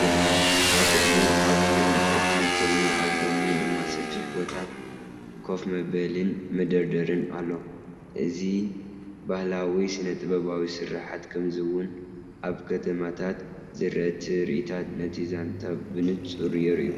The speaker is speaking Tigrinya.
ይርአ። ኣብ ቅድሚት ዓቢይ ዕንጨይቲ ኮይኑ ኣብ ጎድኑ ድማ ሰፊሕ ቦታ ኮፍ መበሊን መደርደሪን ኣሎ። እዚባህላዊ ስነ-ጥበባዊ ስርሓት፣ ከምኡ’ውን ኣብ ከተማታት ዝረአ ትርኢታት ነቲ ዛንታ ብንጹር የርአዩ።